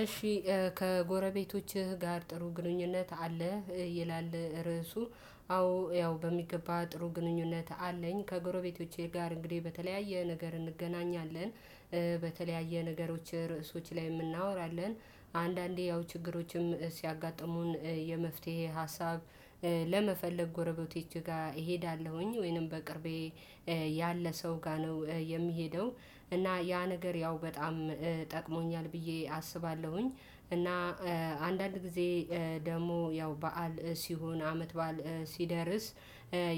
እሺ ከጎረቤቶችህ ጋር ጥሩ ግንኙነት አለህ? ይላል ርዕሱ አዎ ያው በሚገባ ጥሩ ግንኙነት አለኝ ከጎረቤቶቼ ጋር እንግዲህ በተለያየ ነገር እንገናኛለን። በተለያየ ነገሮች ርዕሶች ላይ የምናወራለን። አንዳንዴ ያው ችግሮችም ሲያጋጥሙን የመፍትሄ ሀሳብ ለመፈለግ ጎረቤቴ ጋር እሄዳለሁኝ ወይንም በቅርቤ ያለ ሰው ጋር ነው የሚሄደው እና ያ ነገር ያው በጣም ጠቅሞኛል ብዬ አስባለሁኝ። አንዳንድ ጊዜ ደግሞ ያው በዓል ሲሆን አመት በዓል ሲደርስ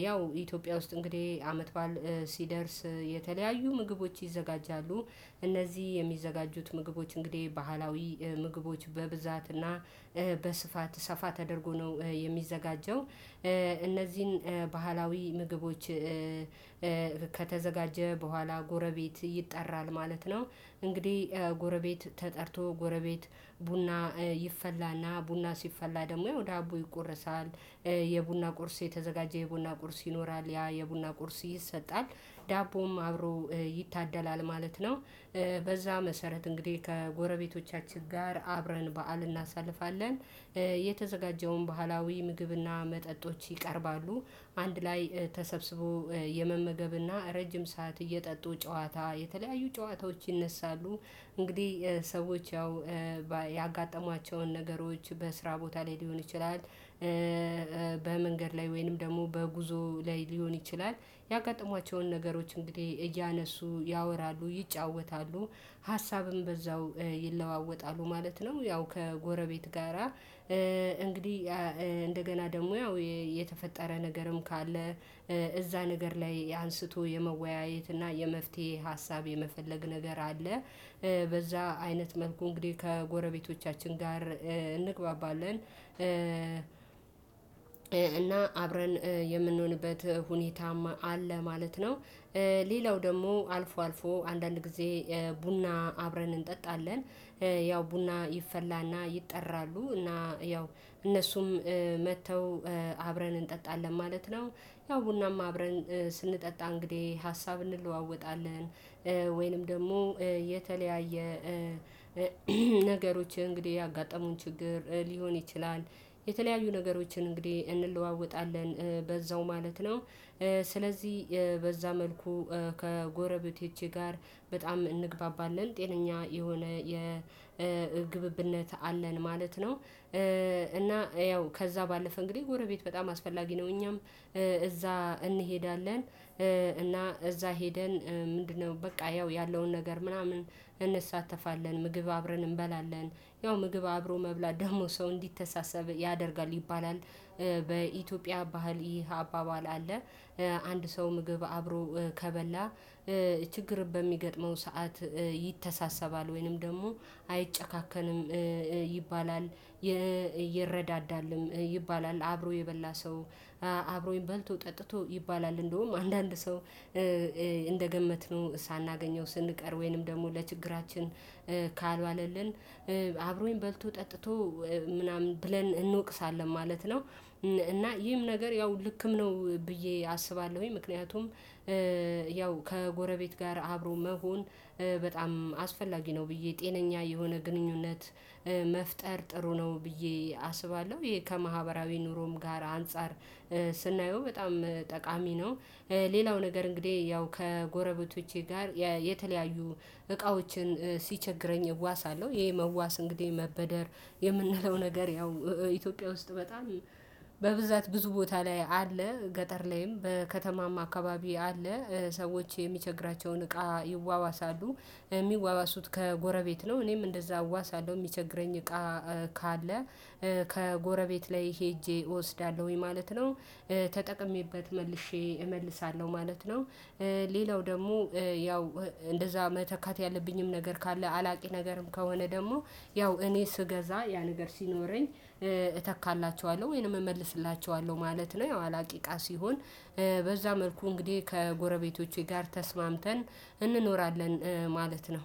ያው ኢትዮጵያ ውስጥ እንግዲህ አመት ባል ሲደርስ የተለያዩ ምግቦች ይዘጋጃሉ እነዚህ የሚዘጋጁት ምግቦች እንግዲህ ባህላዊ ምግቦች በብዛትና በስፋት ሰፋ ተደርጎ ነው የሚዘጋጀው። እነዚህን ባህላዊ ምግቦች ከተዘጋጀ በኋላ ጎረቤት ይጠራል ማለት ነው። እንግዲህ ጎረቤት ተጠርቶ ጎረቤት ቡና ይፈላና ቡና ሲፈላ ደግሞ ወደ ዳቦ ይቆረሳል። የቡና ቁርስ የተዘጋጀ የቡና ቁርስ ይኖራል ያ የቡና ቁርስ ይሰጣል ዳቦም አብሮ ይታደላል ማለት ነው። በዛ መሰረት እንግዲህ ከጎረቤቶቻችን ጋር አብረን በዓል እናሳልፋለን። የተዘጋጀውን ባህላዊ ምግብና መጠጦች ይቀርባሉ አንድ ላይ ተሰብስቦ የመመገብና ረጅም ሰዓት እየጠጡ ጨዋታ የተለያዩ ጨዋታዎች ይነሳሉ። እንግዲህ ሰዎች ያው ያጋጠሟቸውን ነገሮች በስራ ቦታ ላይ ሊሆን ይችላል። በመንገድ ላይ ወይንም ደግሞ በጉዞ ላይ ሊሆን ይችላል ያጋጠሟቸውን ነገሮች እንግዲህ እያነሱ ያወራሉ ይጫወታሉ። ሀሳብም በዛው ይለዋወጣሉ ማለት ነው። ያው ከጎረቤት ጋራ እንግዲህ እንደገና ደግሞ ያው የተፈጠረ ነገርም ካለ እዛ ነገር ላይ አንስቶ የመወያየት እና የመፍትሄ ሀሳብ የመፈለግ ነገር አለ። በዛ አይነት መልኩ እንግዲህ ከጎረቤቶቻችን ጋር እንግባባለን። እና አብረን የምንሆንበት ሁኔታም አለ ማለት ነው። ሌላው ደግሞ አልፎ አልፎ አንዳንድ ጊዜ ቡና አብረን እንጠጣለን። ያው ቡና ይፈላና ይጠራሉ እና ያው እነሱም መተው አብረን እንጠጣለን ማለት ነው። ያው ቡና አብረን ስንጠጣ እንግዲህ ሀሳብ እንለዋወጣለን። ወይንም ደግሞ የተለያየ ነገሮች እንግዲህ ያጋጠሙን ችግር ሊሆን ይችላል። የተለያዩ ነገሮችን እንግዲህ እንለዋወጣለን በዛው ማለት ነው። ስለዚህ በዛ መልኩ ከጎረቤቴ ጋር በጣም እንግባባለን ጤነኛ የሆነ የግብብነት አለን ማለት ነው። እና ያው ከዛ ባለፈ እንግዲህ ጎረቤት በጣም አስፈላጊ ነው እኛም እዛ እንሄዳለን። እና እዛ ሄደን ምንድነው በቃ ያው ያለውን ነገር ምናምን እንሳተፋለን ምግብ አብረን እንበላለን ያው ምግብ አብሮ መብላት ደግሞ ሰው እንዲተሳሰብ ያደርጋል ይባላል። በኢትዮጵያ ባህል ይህ አባባል አለ። አንድ ሰው ምግብ አብሮ ከበላ ችግር በሚገጥመው ሰዓት ይተሳሰባል ወይንም ደግሞ አይጨካከንም። ይባላል ይረዳዳልም ይባላል። አብሮ የበላ ሰው አብሮኝ በልቶ ጠጥቶ ይባላል እንደውም አንዳንድ ሰው እንደገመትን ሳናገኘው ስንቀር ወይንም ደግሞ ለችግራችን ካልዋለልን አብሮኝ በልቶ ጠጥቶ ምናምን ብለን እንወቅሳለን ማለት ነው። እና ይህም ነገር ያው ልክም ነው። ብዬ አስባለሁኝ ምክንያቱም ያው ከጎረቤት ጋር አብሮ መሆን በጣም አስፈላጊ ነው ብዬ ጤነኛ የሆነ ግንኙነት መፍጠር ጥሩ ነው። ብዬ አስባለሁ ይሄ ከማህበራዊ ኑሮም ጋር አንፃር ስናየው በጣም ጠቃሚ ነው። ሌላው ነገር እንግዲህ ያው ከጎረቤቶቼ ጋር የተለያዩ እቃዎችን ሲቸግረኝ እዋሳለሁ ይሄ መዋስ እንግዲህ መበደር የምንለው ነገር ያው ኢትዮጵያ ውስጥ በጣም በብዛት ብዙ ቦታ ላይ አለ። ገጠር ላይም በከተማም አካባቢ አለ። ሰዎች የሚቸግራቸውን እቃ ይዋዋሳሉ። የሚዋዋሱት ከጎረቤት ነው እኔም እንደዛ እዋሳለሁ የሚቸግረኝ እቃ ካለ ከጎረቤት ላይ ሄጄ እወስዳለሁኝ ማለት ነው። ተጠቅሜበት መልሼ እመልሳለሁ ማለት ነው። ሌላው ደግሞ ያው እንደዛ መተካት ያለብኝም ነገር ካለ አላቂ ነገርም ከሆነ ደግሞ ያው እኔ ስገዛ ያ ነገር ሲኖረኝ እተካላችኋለሁ ወይንም እመልስላችኋለሁ ማለት ነው። ያው አላቂ ቃ ሲሆን በዛ መልኩ እንግዲህ ከጎረቤቶቼ ጋር ተስማምተን እንኖራለን ማለት ነው።